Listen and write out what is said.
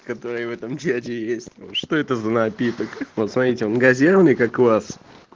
который в этом свете есть что это за напиток вот смотрите газированный как у вас